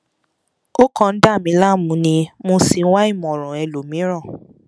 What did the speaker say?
ó kàn ń dà mí láàmú ni mo sì ń wá ìmọràn ẹlòmìíràn